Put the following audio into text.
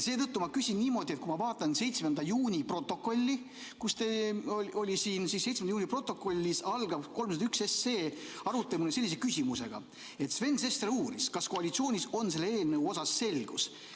Seetõttu ma küsin niimoodi, et kui ma vaatan 7. juuni protokolli, kus see oli ... 7. juuni protokollis algab 301 arutelu sellise küsimusega, et Sven Sester uurib, kas koalitsioonis on selle eelnõu osas selgus.